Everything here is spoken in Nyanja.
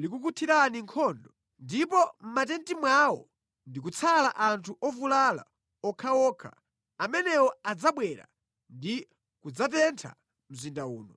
likukuthirani nkhondo ndipo mʼmatenti mwawo ndikutsala anthu ovulala okhaokha, amenewo adzabwera ndi kudzatentha mzinda uno.”